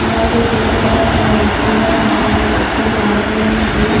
అలాగే చెట్లు కూడా చాలా ఎక్కువగా ఉన్నాయి చుట్టూ గోడ కూడా ఉంది పచ్చటి పెన్--